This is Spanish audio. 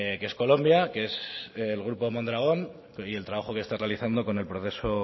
que es colombia que es el grupo mondragón y el trabajo que está realizando con el proceso